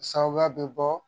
Sababuya bɛ bɔ